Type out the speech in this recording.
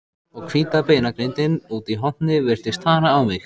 Og hvíta beinagrindin úti í horni virtist stara á mig.